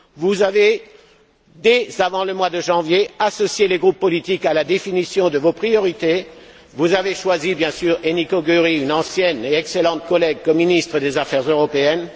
Vous avez, dès avant le mois de janvier, associé les groupes politiques à la définition de vos priorités, et choisi bien sûr Enikö Győri, une ancienne et excellente collègue, en tant que ministre des affaires européennes.